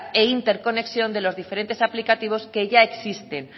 e interconexión de los diferentes aplicativos que ya existen